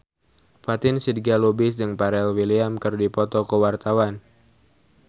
Fatin Shidqia Lubis jeung Pharrell Williams keur dipoto ku wartawan